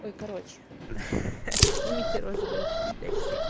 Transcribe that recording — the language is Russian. ой короче х-ах снимите розовые очки блять все